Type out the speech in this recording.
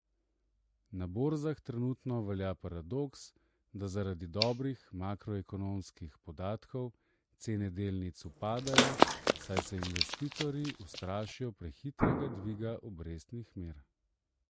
Na borzah trenutno velja paradoks, da zaradi dobrih makroekonomskih podatkov cene delnic upadejo, saj se investitorji ustrašijo prehitrega dviga obrestnih mer.